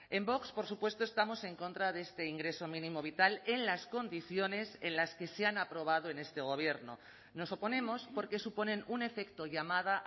en vox por supuesto estamos en contra de este ingreso mínimo vital en las condiciones en las que se han aprobado en este gobierno nos oponemos porque suponen un efecto llamada